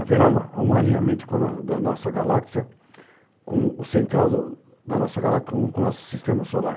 Haverá um alinhamento da nossa galáxia, com o central do da nossa galáxia, com com o nosso sistema solar.